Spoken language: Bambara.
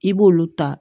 I b'olu ta